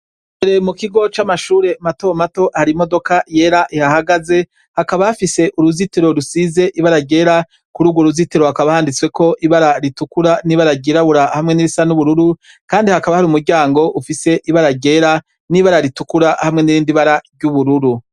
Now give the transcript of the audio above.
Mukigo c’amashure mato mato har’imodoka yera ihahagaze, hakaba hafise uruzitiro rusize ibara ryera, kurugwo ruzitiro hakaba handitwseko ibara ritukura n’ibara ryirabura hamwe nirisa nubururu ,Kandi hakaba hari umuryango ufize ibara ryera n’ibara ritukura hamwe nirindi bara ry’ubururu.